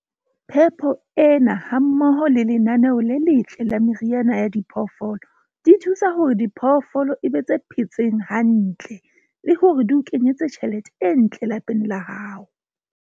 Phepo ena hammoho le lenaneo le letle la meriana ya diphoofolo di thusa hore diphoofolo e be tse phetseng hantle le hore di o kenyetse tjhelete e ntle lapeng la hao.